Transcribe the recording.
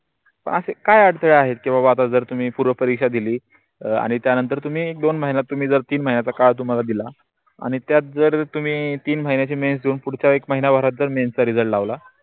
असे काय अडचण आहे तेव्हा तुम्ही पूर्ण परीक्षा दिली आणि त्या नंतर तुम्ही दोन महिन्यात तीन महिन्यातल काळ तुम्हा दिला आणि त्यात जर तुम्ही तीन महिन्याचा मेंच देऊन पुढच्या एक महिन्या भारत जर मेंचा रिझल्ट लावला